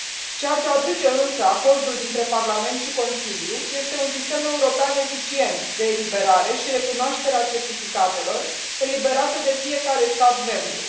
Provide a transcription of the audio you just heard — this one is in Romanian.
Ceea ce aduce însă acordul dintre Parlament și Consiliu este un sistem european eficient de eliberare și recunoaștere a certificatelor eliberate de fiecare stat membru.